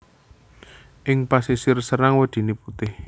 Ing pasisir Serang wedhine putih